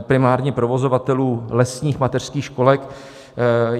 primárně provozovatelů lesních mateřských školek.